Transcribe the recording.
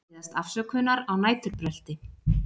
Biðjast afsökunar á næturbrölti